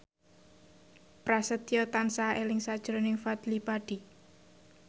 Prasetyo tansah eling sakjroning Fadly Padi